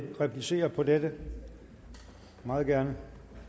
replicere på dette meget gerne